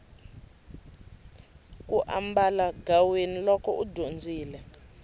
u ambalagaweni loko u dyondzile